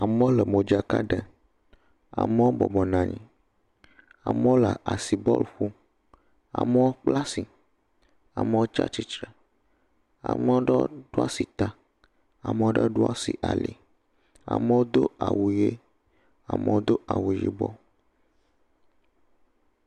Amewo le modzaka ɖe, amewo bɔbɔnɔ anyi, amewo le asi bɔl ƒom. Amewo kpla si, amewo tsia tsitre. Ame aɖewo ɖo asi ta, ame aɖewo ɖɔ asi ali, amewo do awu ʋi, amewo do awu yibɔ ɛ